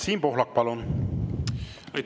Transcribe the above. Siim Pohlak, palun!